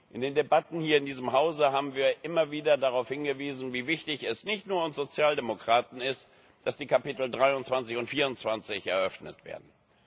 In den Debatten hier in diesem Hause haben wir immer wieder darauf hingewiesen, wie wichtig es nicht nur für uns Sozialdemokraten ist, dass die Kapitel 23 und 24 eröffnet werden.